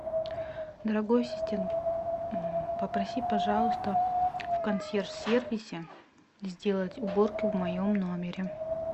дорогой ассистент попроси пожалуйста в консьерж сервисе сделать уборку в моем номере